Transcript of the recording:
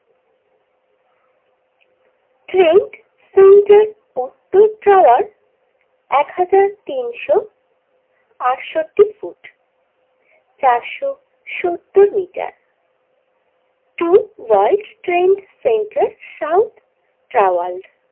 Trouser একহাজার তিনশো আটষট্টি ফুট চারশো সত্তর metre true world trade center south ট্রাওয়ার্ল্ড।